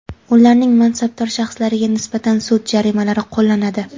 ularning mansabdor shaxslariga nisbatan sud jarimalari qo‘llanadi.